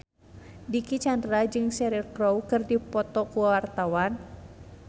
Dicky Chandra jeung Cheryl Crow keur dipoto ku wartawan